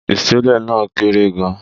Ìṣẹ̀lẹ̀ náà kéré gan-an.